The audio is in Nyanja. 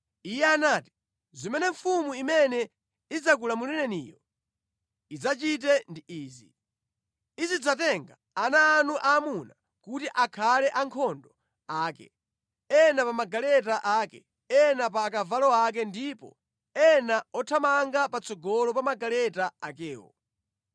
Iye anati, “Zimene mfumu imene idzakulamulireniyo idzachite ndi izi: Izidzatenga ana anu aamuna kuti akhale ankhondo ake; ena pa magaleta ake, ena pa akavalo ake ndipo ena othamanga patsogolo pa magaleta akewo.